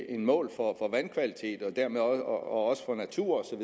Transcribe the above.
et mål for vandkvalitet og også for natur